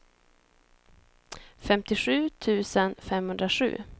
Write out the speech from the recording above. femtiosju tusen femhundrasju